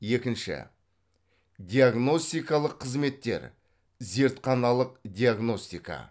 екінші диагностикалық қызметтер зертханалық диагностика